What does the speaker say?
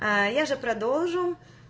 а я же продолжу